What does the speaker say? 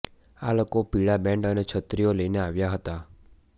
આ લોકો પીળા બેન્ડ અને છત્રીઓ લઇને આવ્યા હતા